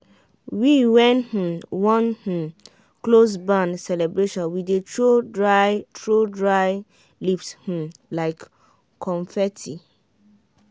wen we um wan um close barn celebration we dey throw dry throw dry leaves um like confetti.